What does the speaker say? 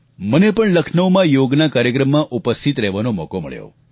મને પણ લખનૌમાં યોગના કાર્યક્રમમાં ઉપસ્થિત રહેવાનો મોકો મળ્યો